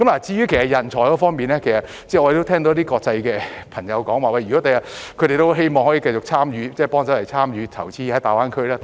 至於人才方面，我們聽到一些外國的朋友說很希望將來可以繼續參與大灣區的投資。